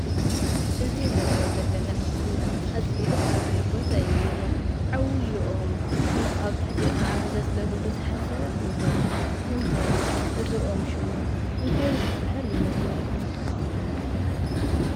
እዚ እንሪኦ ዘለና ምስሊ አዝዩ ደስ በሃሊ ቦታ እዩ ዝኒአ፡፡ ዓብዪ ኦም እሞ አብ ትሕቲኡ ኻዓ ዘፅለሉ ብዙሓት ሰባት እኒሀው፡፡ ንምዃኑ እዚ ኦም ሽሙ እንታይ ዝበሃል ይመስለኩም?